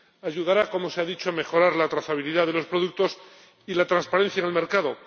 Ayudará, como se ha dicho, a mejorar la trazabilidad de los productos y la transparencia en el mercado.